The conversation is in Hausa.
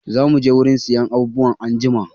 Zamu je wurin siyan abubuwa anjima.